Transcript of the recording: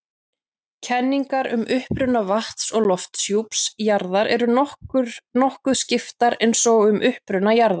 Kenningar um uppruna vatns- og lofthjúps jarðar eru nokkuð skiptar eins og um uppruna jarðar.